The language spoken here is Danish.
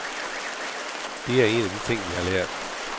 Det er en af de ting, vi har lært.